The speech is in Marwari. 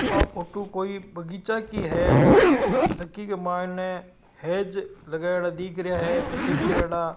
आ फोटो कोई बगीचा की है जाकी के मायने हेज लगायोडा दिख रहियो है कटिंग करेड़ा--